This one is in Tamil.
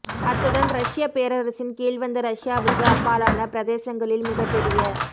அத்துடன் ரஷ்யப் பேரரசின் கீழ்வந்த ரஷ்யாவுக்கு அப்பாலான பிரதேசங்களில் மிகப்பெரிய